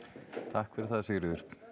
takk fyrir það Sigríður